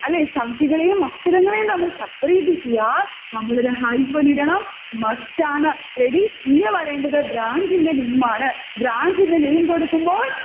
അല്ലെ, സംഖ്യകളെയും അക്ഷരങ്ങളെയും തമ്മിൽ separate ചെയ്യാൻ നമ്മളൊരു hyphen ഇടണം, must ആണ്. ready? ഇനി വരേണ്ടത് branch ന്റെ name ആണ്. branch ന്റെ name കൊടുക്കുമ്പോൾ